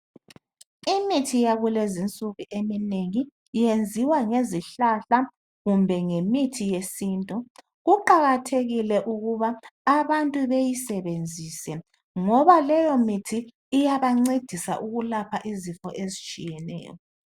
Imithi yakulezinsuku eminengi iyenziwa ngezihlahla kumbe ngemithi yesintu. Kuqakathekile ukuba abantu beyisebenzise ngoba leyomithi iyabancedisa ukwelapha izifo ezitshiyeneyo.